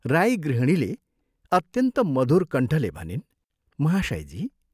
राई गृहिणीले अत्यन्त मधुर कण्ठले भनिन् "महाशयजी!